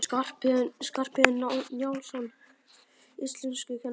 Skarphéðinn Njálsson, íslenskukennari!